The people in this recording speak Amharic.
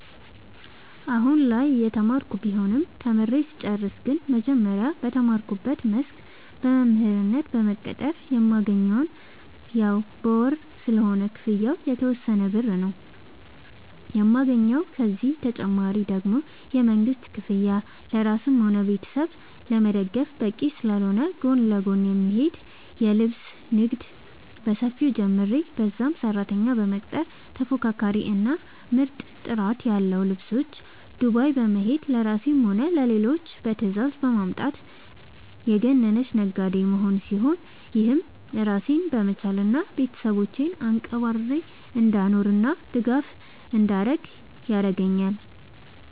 አሁላይ እየተማርኩ ቢሆንም ተምሬ ስጨርስ ግን መጀመሪያ በተማርኩበት መስክ በመምህርነት በመቀጠር የማገኘውም ያው በወር ስለሆነ ክፍያው የተወሰነ ብር ነው የማገኘው፤ ከዚህ ተጨማሪ ደግሞ የመንግስት ክፍያ ለራስም ሆነ ቤተሰብ ለመደገፍ በቂ ስላልሆነ ጎን ለጎን የሚሄድ የልብስ ንግድ በሰፊው ጀምሬ በዛም ሰራተኛ በመቅጠር ተፎካካሪ እና ምርጥ ጥራት ያለው ልብሶች ዱባይ በመሄድ ለራሴም ሆነ ለሌሎች በትዛዝ በማምጣት የገነነች ነጋዴ መሆን ሲሆን፤ ይህም ራሴን በመቻል እና ቤተሰቦቼን አንቀባርሬ እንዳኖርናእንድደግፍ ያረገአኛል።